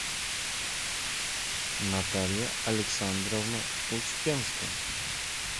наталья александровна успенская